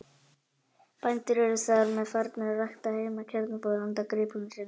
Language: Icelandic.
Bændur eru þar með farnir að rækta heima kjarnfóður handa gripum sínum.